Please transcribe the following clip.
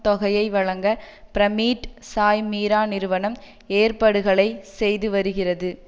தொகையை வழங்க பிரமீட் சாய்மீரா நிறுவனம் ஏற்படுகளை செய்து வருகிறது